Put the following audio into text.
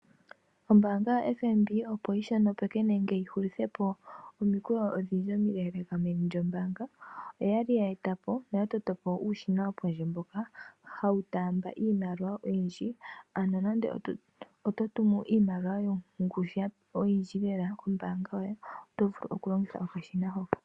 Ombaanga yaFNB opo yishonopeke nenge yihulithepo omikweyo odhindji omileeleeka meni lyombaanga, oya li yeetapo nenge yatoto po uushina mboka wopondje mboka hawu taamba iimaliwa oyindji. Nande oto tumu iimaliwa yongushu oyindji oto vulu okulongitha okashina hoka.